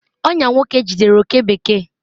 ọnyà nwoke jidere oke bekee